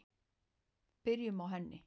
Byrjum á henni.